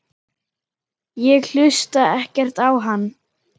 Ég hlusta ekkert á hann.